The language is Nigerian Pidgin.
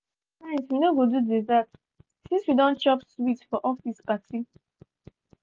tonight we no go do dessert since we don chop sweet for office party.